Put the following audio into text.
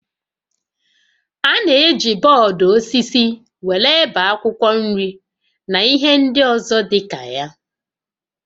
A na-eji bọọdụ osisi were ebe akwụkwọ nri na ihe ndị ọzọ dịka ya